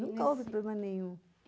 Nunca houve problema nenhum.